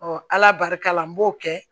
ala barika la n b'o kɛ